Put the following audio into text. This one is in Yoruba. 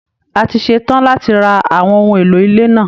A ti ṣe tán láti ra àwọn ohun èlò ilé náà